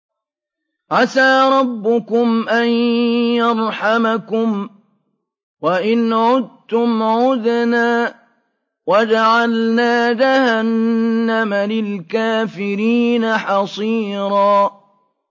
عَسَىٰ رَبُّكُمْ أَن يَرْحَمَكُمْ ۚ وَإِنْ عُدتُّمْ عُدْنَا ۘ وَجَعَلْنَا جَهَنَّمَ لِلْكَافِرِينَ حَصِيرًا